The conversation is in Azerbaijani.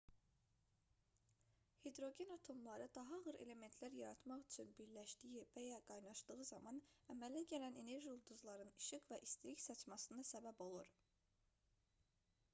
hidrogen atomları daha ağır elementlər yaratmaq üçün birləşdiyi və ya qaynaşdığı zaman əmələ gələn enerji ulduzların işıq və istilik saçmasına səbəb olur